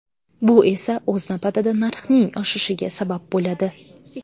Bu esa o‘z navbatida narxning oshishiga sabab bo‘ladi.